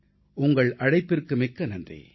உங்கள் அழைப்பிற்கு மிக்க நன்றி